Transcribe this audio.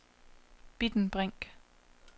Bitten Brink